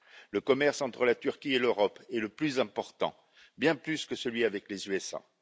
Le commerce entre la Turquie et l'Europe est le plus important, bien plus que celui avec les États Unis.